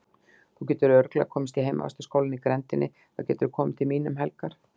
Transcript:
Þú getur örugglega komist í heimavistarskólann í grenndinni, þá geturðu komið til mín um helgar.